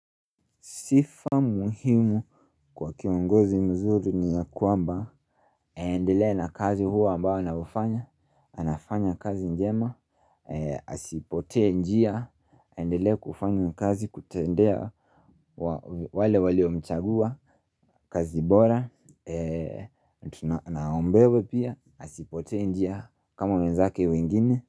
Sifa muhimu kwa kiongozi mzuri ni ya kwamba, aendele na kazi huo ambao naufanya, anafanya kazi njema, asipotee njia, aendelee kufanya kazi kutendea wale waliomchagua, kazi bora, na aombewe pia, asipotee njia kama wenzake uingine.